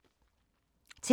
TV 2